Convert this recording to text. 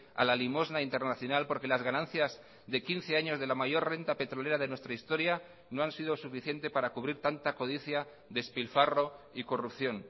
a la limosna internacional porque las ganancias de quince años de la mayor renta petrolera de nuestra historia no han sido suficiente para cubrir tanta codicia despilfarro y corrupción